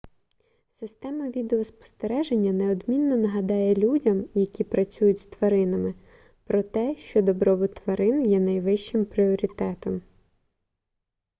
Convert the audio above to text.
система відеоспостереження неодмінно нагадає людям які працюють з тваринами про те що добробут тварин є найвищим пріоритетом